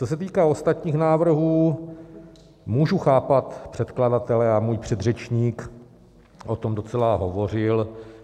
Co se týká ostatních návrhů, můžu chápat předkladatele, a můj předřečník o tom docela hovořil.